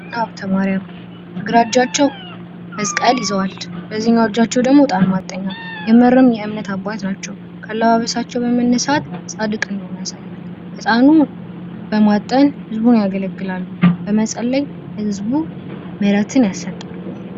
አቡነ ሀብተ ማርያም በግራ እጃቸዉ መስቀል ይዘዋል። በዚህኛዉ እጃቸዉ ደግሞ የእጣን ማጠኛ። የምርም የእምነት አባት ናቸዉ። ከአለባበሳቸዉ በመነሳት ፃድቅ እንደሆኑ ያሳያል። እጣኑን በማጠን ህዝቡን ያገለግላሉ። በመጸለይ ለህዝቡ ምህትን ያሰጣሉተ